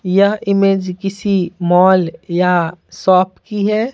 यह इमेज किसी मॉल या शॉप की है।